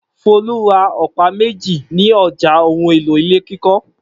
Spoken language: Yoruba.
Folú ra ọ̀pá méjì ní ọjà ohun-èlò ilé kíkọ́.